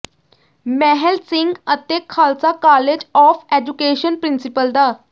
ਮਹਿਲ ਸਿੰਘ ਅਤੇ Khalsa college of education principal ਡਾ